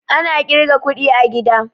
Ana ƙirgan kuɗi a gida